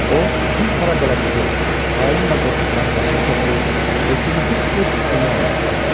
O, bir para dələduzu, xain və qorxaqları başına toplayıb hökuməti öz əlinə almaq istəyirdi.